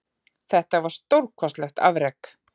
Þetta var stórkostlegt afrek